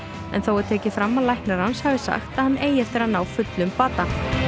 en þó er tekið fram að læknar hans hafi sagt að hann eigi eftir að ná fullum bata